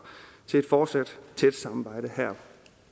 til et fortsat tæt samarbejde her